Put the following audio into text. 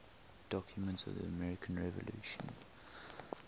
documents of the american revolution